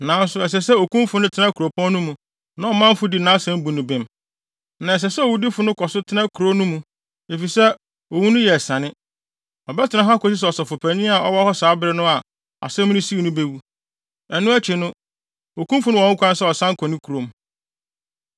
Nanso ɛsɛ sɛ okumfo no tena kuropɔn no mu na ɔmanfo di nʼasɛm bu no bem. Na ɛsɛ sɛ owudifo no kɔ so tena kurow no mu, efisɛ owu no yɛ asiane. Ɔbɛtena hɔ akosi sɛ ɔsɔfopanyin a ɔwɔ hɔ saa bere no a asɛm no sii no bewu. Ɛno akyi, okumfo no wɔ ho kwan sɛ ɔsan kɔ ne kurom.”